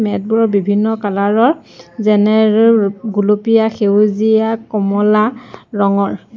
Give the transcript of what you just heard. Mat বোৰৰ বিভিন্ন colour ৰ যেনে ৰে ৰ গুলপীয়া সেউজীয়া কমলা ৰঙৰ।